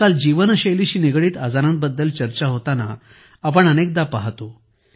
आजकाल जीवनशैलीशी निगडित आजारांबद्दल चर्चा होताना आपण अनेकदा पाहिले आहे